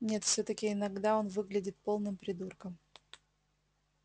нет всё-таки иногда он выглядит полным придурком